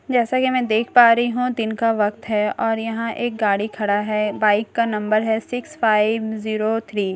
जैसा की मैं देख पा रही हूँ दिन का वक़्त है और यहाँ एक गाड़ी खड़ा है बाइक का नंबर है सिक्स फाइव ज़ीरो थ्री और --